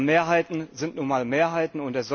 Aber Mehrheiten sind nun einmal Mehrheiten.